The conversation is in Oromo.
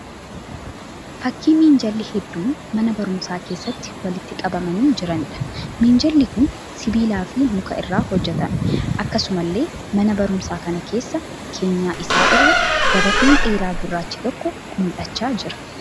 Fakkii minjaalli hedduun mana barumsaa keessatti walitti qabamanii jiraniidha. Minjaalli kun sibiilaa fi muka irraa hojjetame. Akkasumallee mana barumsaa kana keessa keenyan isaa irra gabateen dheeraa gurraachi tokko mul'achaa jira.